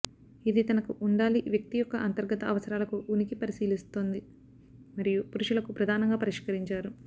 ఇది తనకు ఉండాలి వ్యక్తి యొక్క అంతర్గత అవసరాలకు ఉనికి పరిశీలిస్తోంది మరియు పురుషులకు ప్రధానంగా పరిష్కరించారు